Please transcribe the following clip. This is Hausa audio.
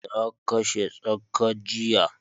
Na kashe tsaka jiya